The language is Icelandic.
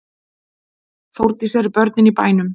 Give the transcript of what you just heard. Þórdís: Eru börnin í bænum?